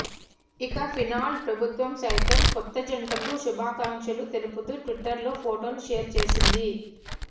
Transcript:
ఇక ఫిన్లాండ్ ప్రభుత్వం సైతం కొత్తజంటకు శుభాకాంక్షలు తెలుపుతూ ట్విటర్లో ఫొటోను షేర్ చేసింది